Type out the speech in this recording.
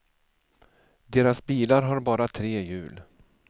Deras bilar har bara tre hjul.